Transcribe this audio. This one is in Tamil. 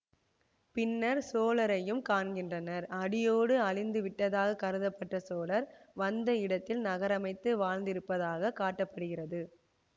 பின்னர் சோழரையும் காண்கிறனர் அடியோடு அழிந்து விட்டதாக கருதப்பட்ட சோழர் வந்த இடத்தில் நகரமைத்து வாழ்ந்திருப்பதாக காட்ட படுகிறது